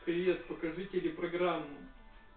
привет покажи телепрограмму